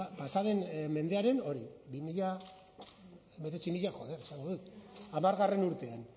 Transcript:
pasa den mendearen hori mila bederatziehun eta hamargarrena urtean